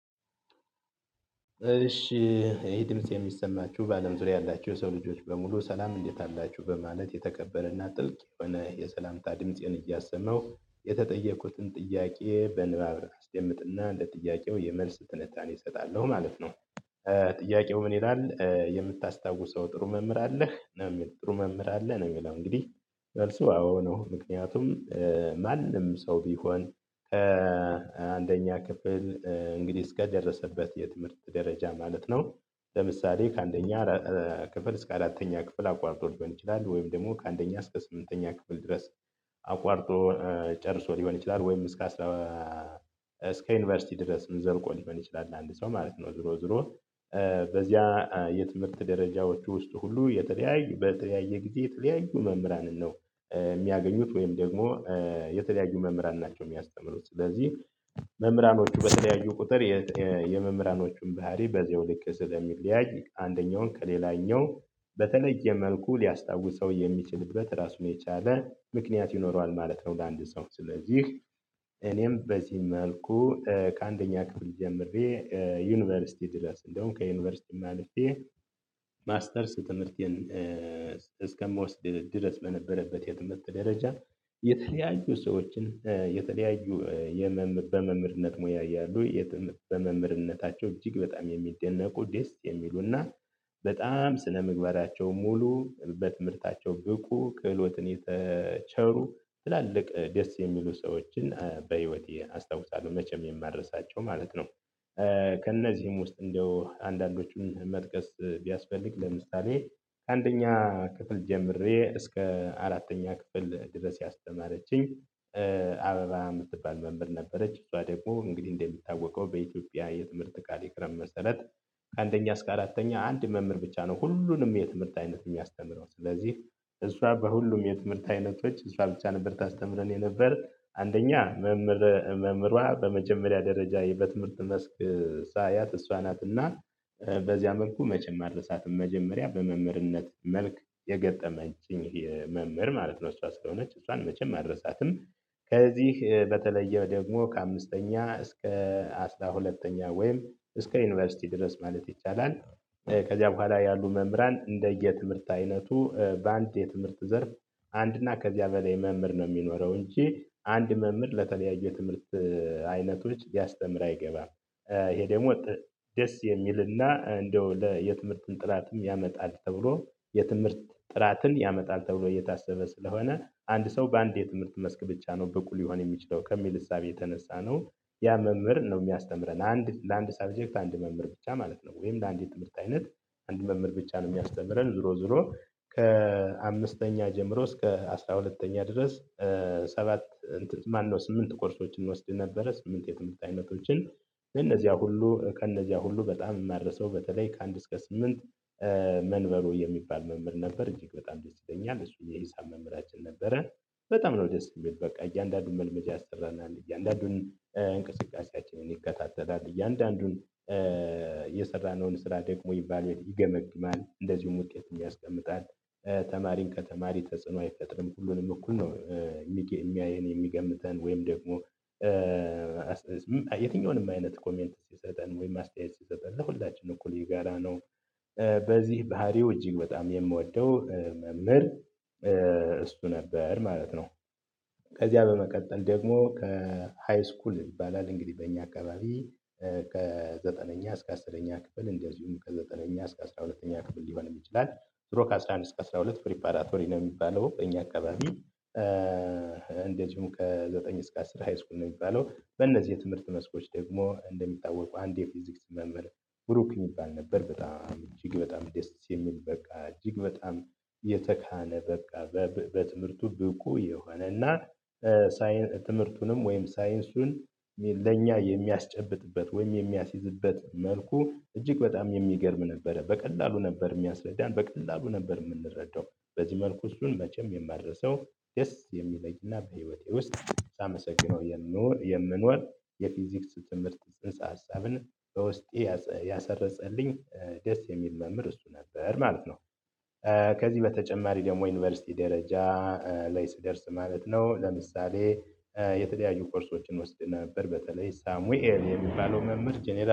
እሺ። ይሄ ድምጽ የሚሰማችሁ በአለም ዙሪያ ያላችሁ የሰው ልጆች በሙሉ ሰላም እንዴት አላችሁ በማለት የተከበረና ጥልቅ የሆነ የሰላምታ ድምፄን እያሰማው የተጠየቁትን ጥያቄ በንባብ አስደምጥና እንደ ጥያቄው የመልስ ትንታኔ እሰጣለሁ ማለት ነው። ጥያቄው ምን ይላል? የምታስታውሰው ጥሩ መምህር አለህ ነው የሚል ጥሩ መምህር አለህ ነው? የሚል እንግዲህ መልሱ አዎ ነው። ምክንያቱም ማንም ሰው ቢሆን። አንደኛ ክፍል እንግዲህ እስከደረሰበት የትምህርት ደረጃ ማለት ነው። ለምሳሌ ከአንደኛ ክፍል እስከ አራተኛ ክፍል አቋርጦ ሊሆን ይችላል። ወይም ደግሞ ከአንደኛ እስከ ስምንተኛ ክፍል ድረስ አቋርጦ ጨርሶ ሊሆን ይችላል። ወይም እስከ እስከ ዩኒቨርሲቲ ድረስ ዘልቆ ሊሆን ይችላል። አንድ ሰው ማለት ነው ዙሮ ዙሮ በዚያ የትምህርት ደረጃዎች ውስጥ ሁሉ የተለያዩ በተለያየ ጊዜ የተለያዩ መምህራንን ነው። የሚያገኙት ወይም ደግሞ የተለያዩ መምህራን ናቸው የሚያስተምሩት። ስለዚህ መምህራኖቹ በተለያዩ ቁጥር የመምህራኖቹን ባህሪ በዚያውልክ ስለሚለያይ አንደኛውን ከሌላኛው በተለየ መልኩ ሊያስታውሰው የሚችልበት ራሱን የቻለ ምክንያት ይኖረዋል ማለት ነው። ለአንድ ሰው ስለዚህ እኔም በዚህ መልኩ ከአንደኛ ክፍል ጀምሬ ዩኒቨርሲቲ ድረስ እንደወም ከዩኒቨርሲቲም አልፌ ማስተርስ ትምህርቴን እስከምወስድ ድረስ በነበረበት የትምህርት ደረጃ። የተለያዩ ሰዎችን የተለያዩ የመምህር በመምርነት ሙያ እያሉ በመምህርነታቸው እጅግ በጣም የሚደነቁ ደስ የሚሉና በጣም ስነምግባራቸው ሙሉ በትምህርታቸው ብቁ ክህሎትን የተቸሩ ትላልቅ ደስ የሚሉ ሰዎችን በህይወቴ አስታውሳለሁ መቼም የማድረሳቸው ማለት ነው። ከእነዚህም ውስጥ እንደው አንዳንዶቹን መጥቀስ ቢያስፈልግ ለምሳሌ ከአንደኛ ክፍል ጀምሬ እስከ አራተኛ ክፍል ድረስ ያስተማረችኝ አበባ የምትባል መምህር ነበረች። እሷ ደግሞ እንግዲህ እንደሚታወቀው በኢትዮጵያ የትምህርት ካሪኩለም መሰረት ከአንደኛ እስከ አራተኛ አንድ መምህር ብቻ ነው ሁሉንም የትምህርት አይነት የሚያስተምረው። ስለዚህ እሷ በሁሉም የትምህርት አይነቶች እሷ ብቻ ነበርታ አስተምረን የነበር አንደኛ። መምህሯ በመጀመሪያ ደረጃ በትምህርት መስክ ሳያት እሷ ናትና በዚያ መልኩ መቸም አልረሳትም መጀመሪያ በመምህርነት መልክ የገጠመችኝ መምህር ማለት ነው እሷ ስለሆነች እሷን መቼም አልረሳትም። ከዚህ በተለየ ደግሞ ከአምስተኛ እስከ አስራ ሁለተኛ ወይም እስከ ዩኒቨርሲቲ ድረስ ማለት ይቻላል። ከዚያ በኋላ ያሉ መምህራን እንደየ ትምህርት አይነቱ በአንድ የትምህርት ዘር አንድና ከዚያ በላይ መምህር ነው የሚኖረው እንጂ አንድ መምህር ለተለያዩ የትምህርት አይነቶች ሊያስተምር አይገባም። ይሄ ደግሞ ደስ የሚልና እንደው ለየትምህርት ጥላትም ያመጣል ተብሎ የትምህርት ጥራትን ያመጣል ተብሎ እየታሰበ ስለሆነ አንድ ሰው በአንድ የትምህርት መስክ ብቻ ነው ብቁ ሊሆን የሚችለው ከሚል እሳቤ የተነሳ ነው። ያ መምህር ነው የሚያስተምረን አንድ ለአንድ ሰብጀክት አንድ መምህር ብቻ ማለት ነው። ወይም ለአንድ የትምህርት አይነት አንድ መምህር ብቻ ነው የሚያስተምረን። ዞሮ ዞሮ ከአምስተኛ ጀምሮ እስከ አስራ ሁለተኛ ድረስ። ሰባት እንትን ማነው ስምንት ኮርሶችን ወስደን ነበረ ስምንት የትምህርት አይነቶችን። እነዚያ ሁሉ ከእነዚያ ሁሉ በጣም የማረሳው በተለይ ከአንድ እስከ ስምንት መንበሩ የሚባል መምህር ነበር እጅግ በጣም ደስ ይለኛል እሱን የሂሳብ መምህራችን ነበረ። በጣም ነው ደስ የሚል በቃ እያንዳንዱን መልመጃ ያሰራናል እያንዳንዱን እንቅስቃሴያችንን ይከታተላል እያንዳንዱን የሰራነውን ስራ ደግሞ ይገመግማል እንደዚሁም ውጤት ያስቀምጣል ተማሪን ከተማሪ ተጽዕኖ አይፈጥርም ሁሉንም እኩል ነው። እሚያየን የሚገምተን ወይም ደግሞ የትኛውንም አይነት ኮሜንት ሲሰጠን ወይም አስተያየት ሲሰጠን ለሁላችንም እኩል ይጋራ ነው። በዚህ ባህሪው እጅግ በጣም የምወደው መምህር እሱ ነበር ማለት ነው። ከዚያ በመቀጠል ደግሞ ከሃይስኩል ይባላል እንግዲህ በእኛ አካባቢ ከዘጠነኛ እስከ አስራ ሁለተኛ ክፍል እንደዚሁም ከዘጠነኛ እስከ አስራ ሁለተኛ ክፍል ሊሆን ይችላል። ድሮ ከአሥራ አንድ እስከ አስራ ሁለት ፕሪፓራቶሪ ነው የሚባለው እኛ አካባቢ። እንደዚሁ ከዘጠኝ እስከ አስር ሃይስኩል ነው የሚባለው። በእነዚህ የትምህርት መስኮች ደግሞ እንደሚታወቀው አንድ የፊዚክስ መምህር ብሩክ የሚባል ነበር በጣም እጅግ በጣም ደስ የሚል በቃ እጅግ በጣም የተካነ በቃ በትምህርቱ ብቁ የሆነና። ሳይንስ ትምህርቱንም ወይም ሳይንሱን ለኛ የሚያስጨብጥበት ወይም የሚያስይዝበት መልኩ እጅግ በጣም የሚገርም ነበረ በቀላሉ ነበር የሚያስረዳን በቀላሉ ነበር የምንረዳው በዚህ መልኩ እሱን መቼም የማደርሰው። ደስ የሚለኝና በህይወቴ ውስጥ ሳመሰግነው የምኖር የምኖር የፊዚክስ ትምህርት ጽንሰ ሀሳብን በውስጤ ያሰረፀልኝ ደስ የሚል መምህር እሱ ነበር ማለት ነው። ከዚህ በተጨማሪ ደግሞ ዩኒቨርሲቲ ደረጃ ላይ ስደርስ ማለት ነው ለምሳሌ የተለያዩ ኮርሶችን ወስድ ነበር በተለይ ሳሙኤል የሚባለው መምህር ጀነራል